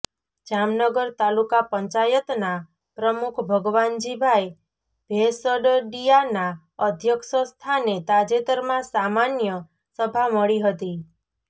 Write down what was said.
જામનગર તાલુકા પંચાયતના પ્રમુખ ભગવાનજીભાઈ ભેંસદડીયાના અધ્યક્ષ સ્થાને તાજેતરમાં સામાન્ય સભા મળી હતી